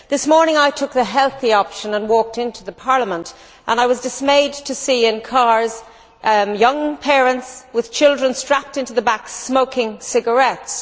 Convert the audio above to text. This morning, I took the healthy option and walked into Parliament and I was dismayed to see in cars young parents, with children strapped into the back, smoking cigarettes.